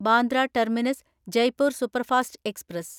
Bandra terminus Jaipur superfast express